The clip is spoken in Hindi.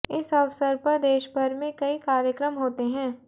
इस अवसर पर देशभर में कई कार्यक्रम होते हैं